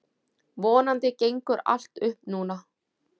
Vonandi gengur allt upp núna.